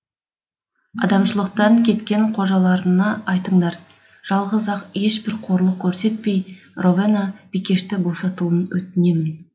адамшылықтан кеткен қожаларына айтыңдар жалғыз ақ ешбір қорлық көрсетпей ровена бикешті босатуын өтінемін